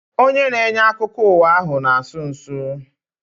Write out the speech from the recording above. Onye na-enye akụkọ ụwa ahu na-asụ nsụ